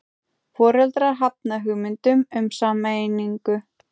Foreldrar hafna hugmyndum um sameiningu